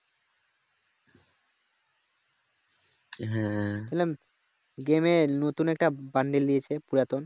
game এ নতুন একটা বান্ডিল দিয়েছে পুরাতন।